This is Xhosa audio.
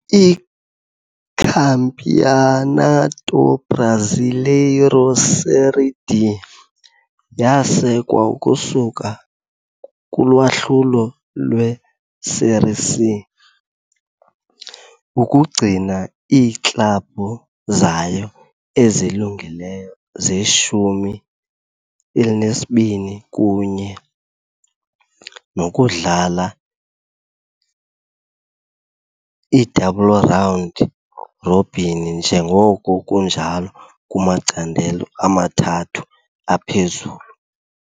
ICampeonato Brasileiro Série D yasekwa ukusuka kulwahlulo lwe-Série C, ukugcina iiklabhu zayo ezilungileyo ze-20 kunye nokudlala i-double round robin njengoko kunjalo kumacandelo amathathu aphezulu.